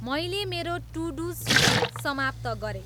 मैले मेरो to do सूची समाप्त गरेँ